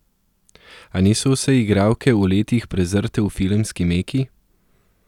A niso vse igralke v letih prezrte v filmski meki.